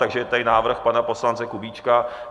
Takže je tady návrh pana poslance Kubíčka.